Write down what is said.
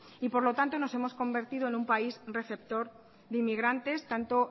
y por lo tanto nos hemos convertido en un país receptor de inmigrantes tanto